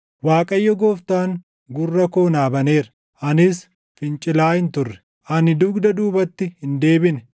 Waaqayyo Gooftaan gurra koo naa baneera; anis fincilaa hin turre; ani dugda duubatti hin deebine.